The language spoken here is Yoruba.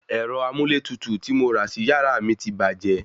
Ērọ amúlétutù tí mo rà sí yàrá mi ti bàjẹ́